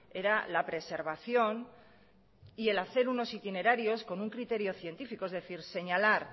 era la preservación y el hacer unos itinerarios con un criterio científico es decir señalar